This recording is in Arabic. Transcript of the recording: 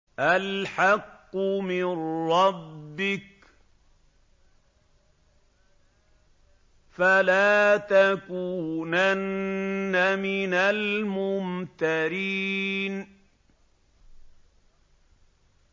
الْحَقُّ مِن رَّبِّكَ ۖ فَلَا تَكُونَنَّ مِنَ الْمُمْتَرِينَ